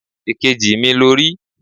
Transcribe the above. Èkejì mi lo rí